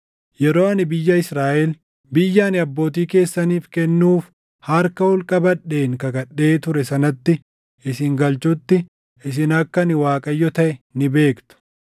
Yeroo ani biyya Israaʼel, biyya ani abbootii keessaniif kennuuf harka ol qabadheen kakadhee ture sanatti isin galchutti isin akka ani Waaqayyo taʼe ni beektu.